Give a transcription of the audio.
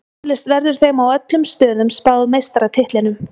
Eflaust verður þeim á öllum stöðum spáð meistaratitlinum.